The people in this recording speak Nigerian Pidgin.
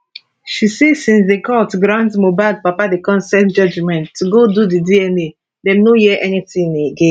she say since di court grant mohbad papa di consent judgement to go do di dna dem no hear anytin again